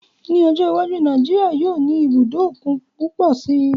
Ní ọjọ́ iwájú, Nàìjíríyà yóò ní ibùdó òkun púpọ̀ si